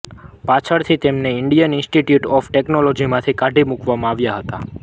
પાછળથી તેમને Indian Institute of ટેક્નોલૉજીમાંથી કાઢી મૂકવામાં આવ્યાં હતાં